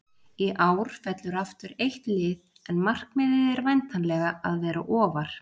Í ár fellur aftur eitt lið en markmiðið er væntanlega að vera ofar?